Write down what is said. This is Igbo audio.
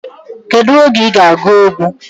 Kedu oge iga agu egwu?